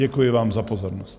Děkuji vám za pozornost.